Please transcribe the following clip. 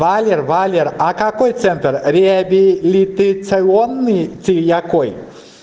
валера какой центр реабилитационный третьяковой